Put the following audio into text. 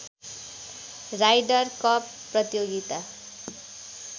rider Cup प्रतियोगिता